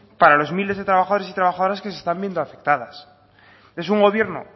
para los miles de trabajadores y trabajadoras que se están viendo afectadas es un gobierno